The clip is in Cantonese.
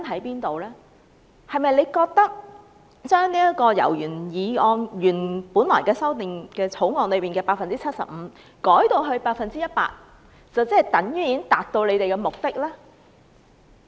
局長是否認為，把百分率由《條例草案》原來所建議的 75% 修訂為 100%， 便能達到目的呢？